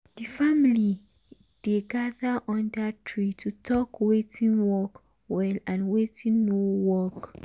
the family um dey gather under tree to talk watin work well and watin no um work.